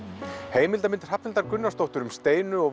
heimildamynd Hrafnhildar Gunnarsdóttur um Steinu og